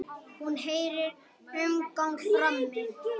Hún heyrir umgang frammi.